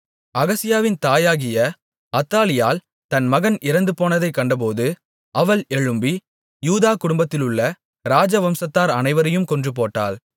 அகசியாவின் தாயாகிய அத்தாலியாள் தன் மகன் இறந்துபோனதைக் கண்டபோது அவள் எழும்பி யூதா குடும்பத்திலுள்ள ராஜவம்சத்தார் அனைவரையும் கொன்றுபோட்டாள்